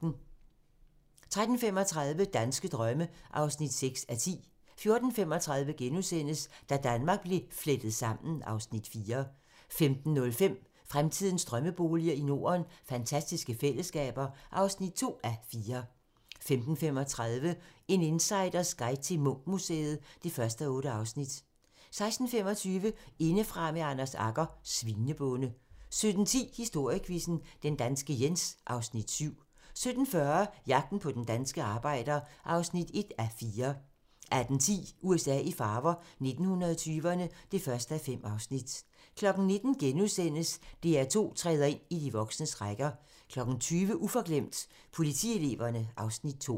13:35: Danske drømme (6:10) 14:35: Da Danmark blev flettet sammen (Afs. 4)* 15:05: Fremtidens drømmeboliger i Norden: Fantastiske fællesskaber (2:4) 15:35: En insiders guide til Munch-museet (1:8) 16:25: Indefra med Anders Agger - Svinebonde 17:10: Historiequizzen: Den danske Jens (Afs. 7) 17:40: Jagten på den danske arbejder (1:4) 18:10: USA i farver - 1920'erne (1:5) 19:00: DR2 træder ind i de voksnes rækker * 20:00: Uforglemt: Politieleverne (Afs. 2)